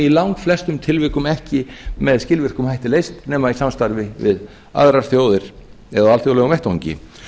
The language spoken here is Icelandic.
í langflestum tilvikum ekki með skilvirkum hætti leyst nema í samstarfi við aðrar þjóðir eða á alþjóðlegum vettvangi